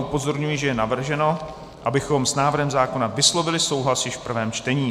Upozorňuji, že je navrženo, abychom s návrhem zákona vyslovili souhlas již v prvém čtení.